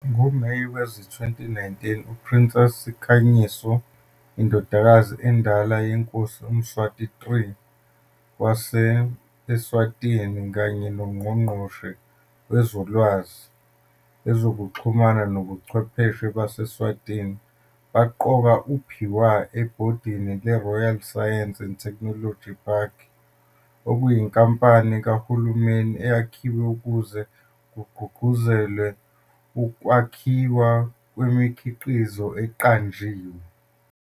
NgoMeyi wezi-2019 uPrincess Sikhanyiso, indodakazi endala yeNkosi uMswati III wase-Eswatini kanye noNgqongqoshe Wezolwazi, Ezokuxhumana Nobuchwepheshe base-Eswatini baqoka uPhiwa ebhodini leRoyal Science and Technology Park, okuyinkampani kahulumeni eyakhiwe ukuze kugqugquzelwe ukwakhiwa kwemikhiqizo eqanjiwe.